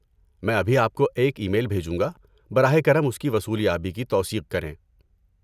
میں ابھی آپ کو ایک ای میل بھیجوں گا۔ براہ کرم اس کی وصولیابی کی توثیق کریں۔